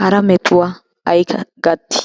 hara metuwa ay gattii?